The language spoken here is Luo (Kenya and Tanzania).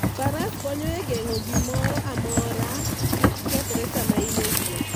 Faras konyo e geng'o gimoro amora kik kethre sama in e wuoth.